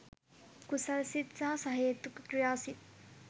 කුසල් සිත් සහ සහේතුක ක්‍රියා සිත්